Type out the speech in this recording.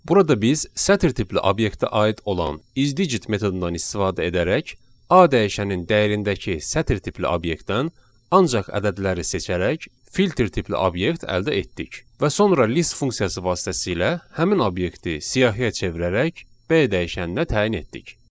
Burada biz sətir tipli obyektə aid olan isdigit metodundan istifadə edərək A dəyişəninin dəyərindəki sətir tipli obyektdən ancaq ədədləri seçərək filter tipli obyekt əldə etdik və sonra list funksiyası vasitəsilə həmin obyekti siyahıya çevirərək B dəyişəninə təyin etdik.